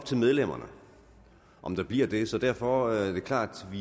til medlemmerne om der bliver det så derfor er det klart at